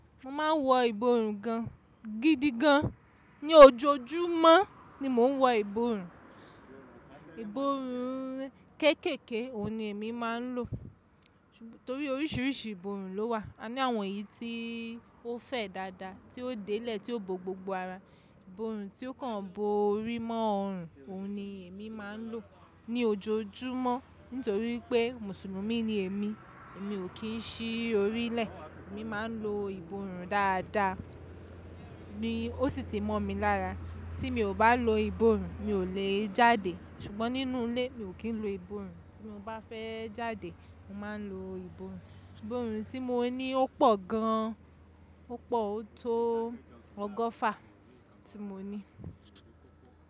Mo máa ń wo iborùn gan, gidi gan. Ní ojoojúmọ́ ni mo ń wo iborùn. Iborùn kẹ́kẹ̀kẹ́ òun ní èmi máa ń lò. Torí oríṣiríṣi iborùn ló wà. A ní àwọn èyí tí ó fẹ́ dáadáa, tí ó délẹ̀, tí ó bo gbogbo ara, iborùn tí ó kàn bo orí mọ́ ọrun, òun ni èmi máa ń lò ní ojoojúmọ́. Nítorí pé Mùsùlùmí ni èmi, èmi ò kí ń ṣí orí lẹ̀. Èmi máa ń lo iborùn dáadáa. Ó sì tí mọ́ mi lára. Tí mo bá lo iborùn, mi ò le jáde. Sùgbọ́n nínú ilé, mi ò kí ń lo iborùn. Tí mo bá fẹ́ jáde, mo máa ń lo iborùn. Iborùn tí mo ní ó pọ̀ gan. Ó pọ̀, ó tó ọgọ́fà tí mo ní.